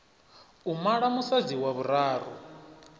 u mala musadzi wa vhuraru